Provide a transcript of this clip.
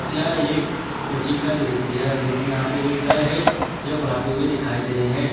यह एक कोचिंग का दृश्य है जो कि यहां पर एक सर है जो पढ़ाते हुए दिखाई दे रहे हैं।